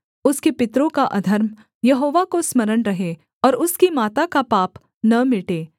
उसके पितरों का अधर्म यहोवा को स्मरण रहे और उसकी माता का पाप न मिटे